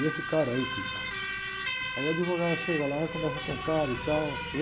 E esse cara aí que... Aí a advogada chega lá, conversa com o cara e tal, entendeu?